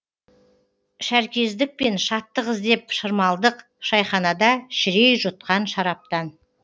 шәркездікпен шаттық іздеп шырмалдық шайханада шірей жұтқан шараптан